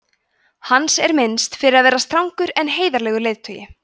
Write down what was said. hans er minnst fyrir að vera strangur en heiðarlegur leiðtogi